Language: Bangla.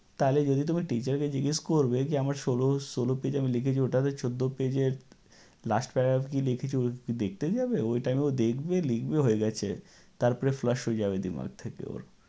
তাহলে যদি তোমার teacher কে জিজ্ঞেস করবে যে আমার ষোল ষোল page এ আমি লিখেছি ওটা যে চৌদ্দ page এ last para এ কী লিখেছি ঐ কি দেখতে যাবে? ঐ time এ ও দেখবে লিখবে হয়ে গেছে। তারপরে flash হয়ে যাবে দিমাগ থেকে ওর।